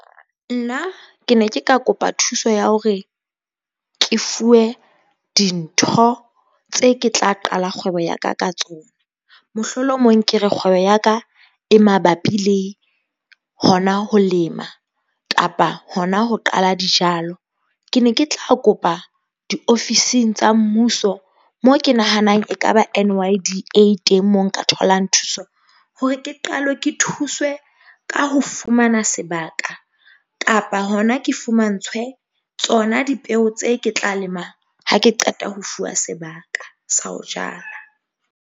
Nna ke ne ke ka kopa thuso ya hore ke fuwe dintho tse ke tla qala kgwebo ya ka ka tsona. Mohlolomong ke re, kgwebo ya ka e mabapi le hona ho lema kapa hona ho qala dijalo. Ke ne ke tla kopa diofising tsa mmuso, moo ke nahanang ekaba N_Y_D_A teng, mo nka tholang thuso hore ke qalwe ke thuswe ka ho fumana sebaka kapa hona ke fumantshwe tsona dipeo tse ke tla lema ha ke qeta ho fuwa sebaka sa ho jala.